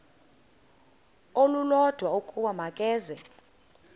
olulodwa ukuba makeze